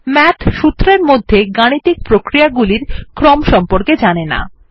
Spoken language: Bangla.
মাথ সূত্রের মধ্যে গাণিতিক প্রক্রিয়া গুলির ক্রম সম্পর্কে জানেন না